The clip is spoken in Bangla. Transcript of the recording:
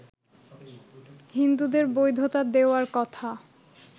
হিন্দুদের বৈধতা দেওয়ার কথা